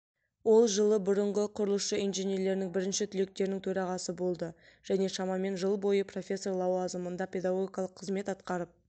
ол жылы бұрынғы құрылысшы инженерлерінің бірінші түлектерінің төрағасы болды және шамамен жыл бойы профессор лауазымында педагогикалық қызмет атқарып